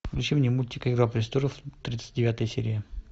включи мне мультик игра престолов тридцать девятая серия